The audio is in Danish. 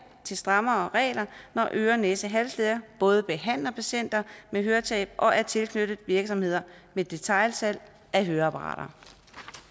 til strammere regler når øre næse halslæger både behandler patienter med høretab og er tilknyttet virksomheder med detailsalg af høreapparater